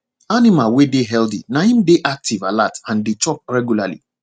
animal wey dey healthy na im dey active alert and dey chop regularly